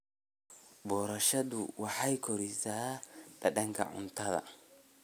Boorashadu waxay kordhisaa dhadhanka cuntada.